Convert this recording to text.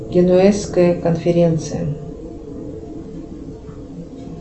генуэзская конференция